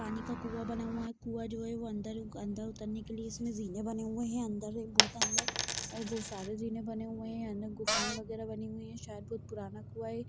पानी का कुंआ बना हुआ है कुंआ जो है वो अंदर ग अंदर उतारने के लिए इसमे जीने बने हुए है अंदर बहोत अंदर और बहोत सारे जीने बने हुए है अंदर गुफाए वगेरा बनी हुई है शायद बहुत पुराना कुंआ है।